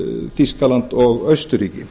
þýskaland og austurríki